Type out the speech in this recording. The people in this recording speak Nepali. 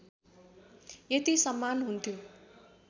यति सम्मान हुन्थ्यो